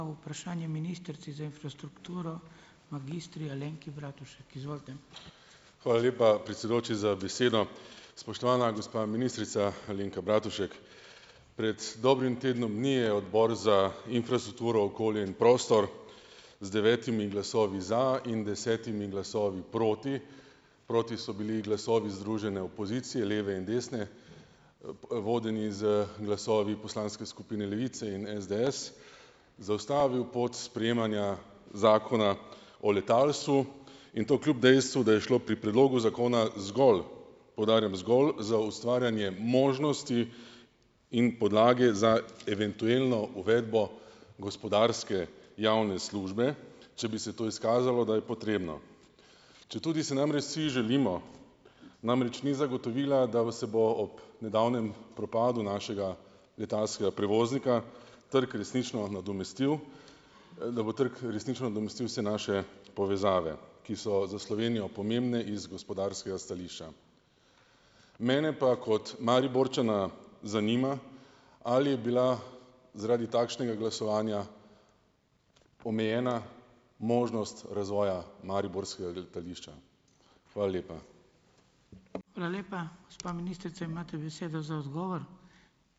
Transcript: Hvala lepa, predsedujoči za besedo. Spoštovana gospa ministrica Alenka Bratušek. Pred dobrim tednom dni je Odbor za infrastrukturo, okolje in prostor z devetimi glasovi za in desetimi glasovi proti, proti so bili glasovi združene opozicije; leve in desne, vodeni z glasovi poslanske skupine Levice in SDS, zaustavil pot sprejemanja Zakona o letalstvu in to kljub dejstvu, da je šlo pri predlogu zakona zgolj, poudarjam, zgolj za ustvarjanje možnosti in podlage za eventuelno uvedbo gospodarske javne službe, če bi se to izkazalo, da je potrebno. Četudi si namreč vsi želimo, namreč ni zagotovila, da se bo ob nedavnem propadu našega letalskega prevoznika trg resnično nadomestil, da bo trg resnično nadomestil vse naše povezave, ki so za Slovenijo pomembne iz gospodarskega stališča. Mene pa kot Mariborčana zanima, ali je bila zaradi takšnega glasovanja omejena možnost razvoja mariborskega letališča? Hvala lepa.